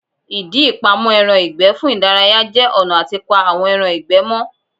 Ìdí ìpamọ́ ẹran ìgbẹ́ fún ìdárayá jẹ́ ọ̀nà àti pa àwọn ẹran ìgbẹ́ mọ́